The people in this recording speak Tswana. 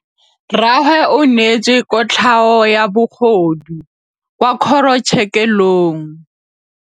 Rragwe o neetswe kotlhaô ya bogodu kwa kgoro tshêkêlông.